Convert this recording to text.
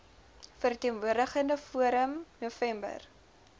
verteenwoordigende forum november